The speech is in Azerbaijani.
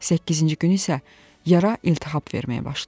Səkkizinci gün isə yara iltihab verməyə başlayıb.